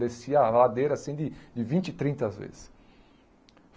Descia a ladeira, assim, de de vinte, trinta às vezes.